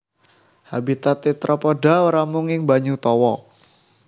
Habitat tetrapoda ora mung ing banyu tawa